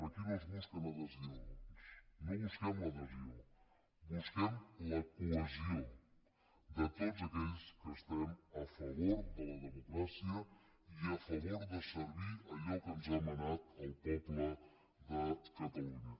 aquí no es busquen adhesions no busquem l’adhesió busquem la cohesió de tots aquells que estem a favor de la democràcia i a favor de servir allò que ens ha manat el poble de catalunya